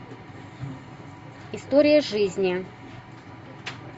история жизни